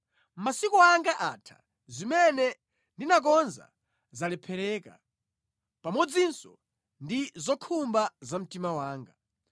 Masiku anga atha, zimene ndinakonza zalephereka, pamodzinso ndi zokhumba za mtima wanga.